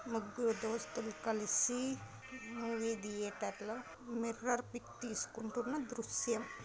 ముగ్గురు దోస్తులు కలిసి మూవీ థియేటర్ లో మిర్రర్ పిక్ తీసుకుంటున్న దృశ్యం .